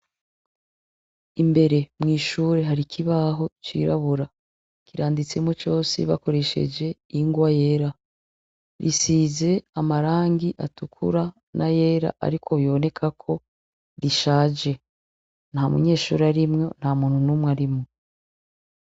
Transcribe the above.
Imbere mw'ishure hari ikibaho cirabura. Kiranditseko cose bakoresheje ingwa yera, risize amarangi atukura n'ayera ariko bibonekako rishaje. Nta munyeshure arimwo, nta muntu n'umwe arimwo.